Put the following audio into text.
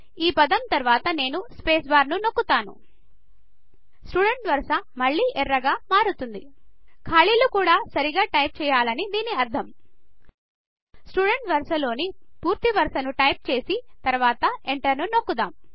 ఈ పదం తరవాత నేను స్పేస్ బార్ నొక్కుతాను స్టూడెంట్ వరస మళ్ళి ఎర్రగా మారుతుంది ఖాళీలు కూడా సరిగ్గా టైప్ చేయాలని దిని అర్థం స్టూడెంట్ వరస లోని పూర్తి వరస ను టైపింగ్ చేసి తరవాత ఎంటర్ నొక్కుద్దాము